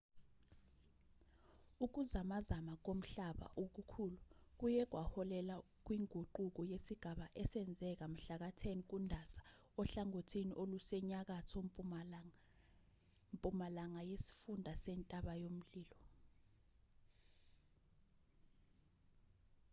ukuzamazama komhlaba okukhulu kuye kwaholela kwinguquko yesigaba esenzeka mhlaka-10 kundasa ohlangothini olusenyakatho-mpumalanga yesifunda sentaba-mlilo